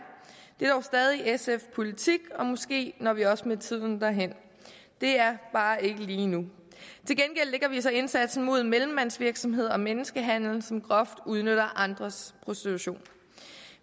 det er dog stadig sfs politik og måske når vi også med tiden derhen det er bare ikke lige nu til gengæld lægger vi så indsatsen mod mellemmandsvirksomhed og menneskehandel som groft udnytter andres prostitution